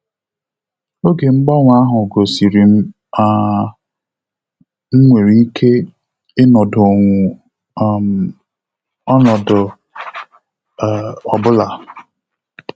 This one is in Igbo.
Oge mgbanwe ahụ gosirim na um m nwere ike ịnọdonwu um ọnọdụ um ọbụla